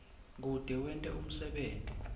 kute wente umsebenti